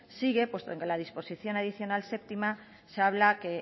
sigue puesto que la disposición adicional séptima se habla que